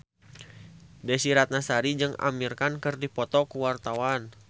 Desy Ratnasari jeung Amir Khan keur dipoto ku wartawan